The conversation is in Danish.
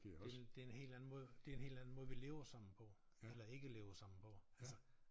Det en det en helt anden måde det en helt anden måde vi lever sammen på eller ikke lever sammen på altså